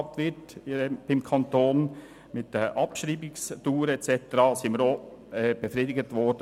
Man konnte klären, wie die Abschreibungsdauer und so weiter beim Kanton gehandhabt wird.